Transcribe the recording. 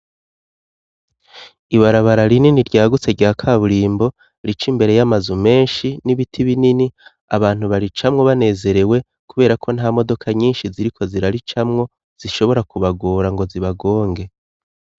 Ibarabara rinini ryagutse rya kaburimbo rica imbere y'amazu menshi n'ibiti binini, abantu baricamwo banezerewe kubera ko nta modoka nyinshi ziriko ziraricamwo zishobora kubagora ngo zibagonge.